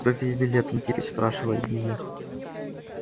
сколько тебе лет антипыч спрашивали меня